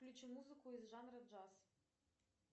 включи музыку из жанра джаз